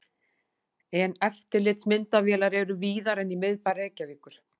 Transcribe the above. En eftirlitsmyndavélar eru víðar en í miðbæ Reykjavíkur.